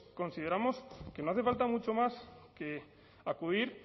consideramos que no hace falta mucho más que acudir